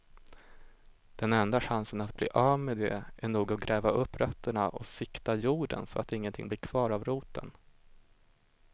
Den enda chansen att bli av med det är nog att gräva upp rötterna och sikta jorden så att ingenting blir kvar av roten.